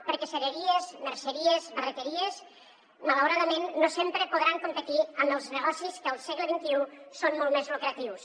perquè cereries merceries barreteries malauradament no sempre podran competir amb els negocis que al segle xxi són molt més lucratius